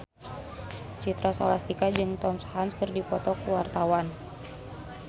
Citra Scholastika jeung Tom Hanks keur dipoto ku wartawan